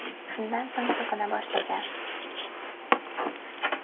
Shundan so‘ng so‘kina boshlagan.